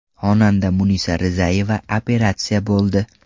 Xonanda Munisa Rizayeva operatsiya bo‘ldi.